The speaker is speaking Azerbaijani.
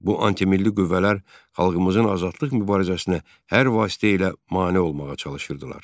Bu antimilli qüvvələr xalqımızın azadlıq mübarizəsinə hər vasitə ilə mane olmağa çalışırdılar.